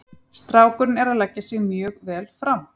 Strákurinn er að leggja sig mjög vel fram.